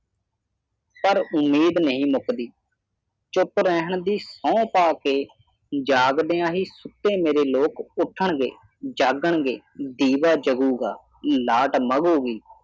ਪਰ ਉਮੀਦ ਨਹੀਂ ਮੁੱਕਦੀ ਚੁੱਪ ਰਹਿਣ ਦੀ ਸਹੁੰ ਪਾ ਕੇ ਜਾਗਦਿਆਂ ਹੀ ਸੁੱਤੇ ਹੋਏ ਲੋਕ ਉੱਠਣਗੇ ਜਾਗਣਗੇ ਦੀਵਾ ਜਗੂ ਗਾ ਲਾਟ ਮੰਗੂ ਗੀ